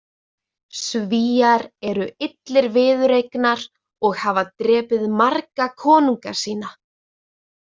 Svíar eru illir viðureignar og hafa drepið marga konunga sína.